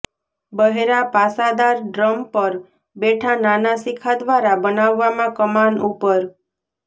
બહેરા પાસાદાર ડ્રમ પર બેઠા નાના શિખા દ્વારા બનાવવામાં કમાન ઉપર